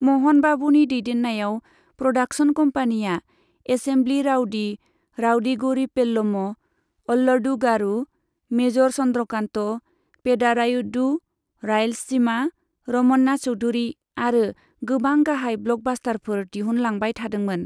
म'हन बाबूनि दैदेन्नायाव, production कम्पानीआ 'assembly rowdy, 'Rowdy Gari Pellam', 'Alludu गारू', 'major Chandrakant', 'Pedarayudu', 'Rayalaseema' 'Ramana Chowdhury आरो गोबां गाहाय ब्लकबास्टारफोर दिहुनलांबाय थादोंमोन।